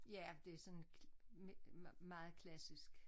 Ja det sådan meget klassisk